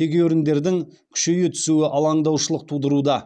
тегеуріндердің күшейе түсуі алаңдаушылық тудыруда